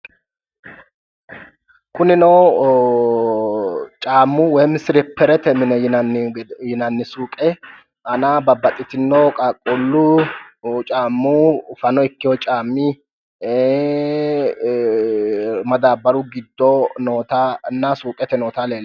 Kunino caammu woy silipperete yinanni suuqe aana babbaxxitino qaqquullu caammi fano ikkeyo caammi ee madaabbaru giddo nootanna suuqete noota leellishanno